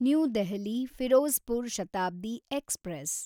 new Delhi Firozpur Shatabdi express